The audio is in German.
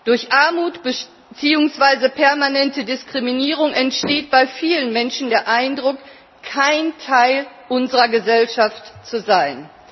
Durch Armut beziehungsweise permanente Diskriminierung entsteht bei vielen Menschen der Eindruck, kein Teil unserer Gesellschaft zu sein.